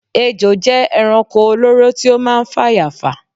ejò jẹ ẹranko olóró tí ó máa ń fàyà fà